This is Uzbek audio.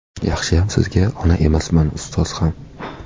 Yaxshiyam Sizga ona emasman, ustoz ham.